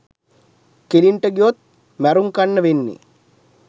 කෙළින්ට ගියොත් මැරුන් කන්න වෙන්නෙ